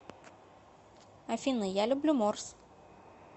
афина я люблю морс